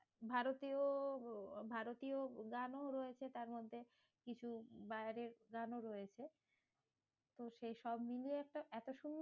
ভারতীয় ভারতীয় গানও রয়েছে তারমধ্যে, কিছু বাইরের গানও রয়েছে। তো সেসব নিয়ে একটা এত সুন্দর